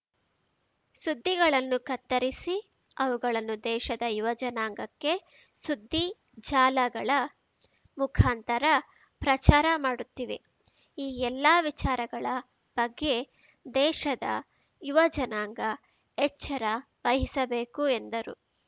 ಸುದ್ದಿಗಳನ್ನು ಕತ್ತರಿಸಿ ಅವುಗಳನ್ನು ದೇಶದ ಯುವಜನಾಂಗಕ್ಕೆ ಸುದ್ದಿ ಜಾಲಗಳ ಮುಖಾಂತರ ಪ್ರಚಾರ ಮಾಡುತ್ತಿವೆ ಈ ಎಲ್ಲಾ ವಿಚಾರಗಳ ಬಗ್ಗೆ ದೇಶದ ಯುವಜನಾಂಗ ಎಚ್ಚರ ವಹಿಸಬೇಕು ಎಂದರು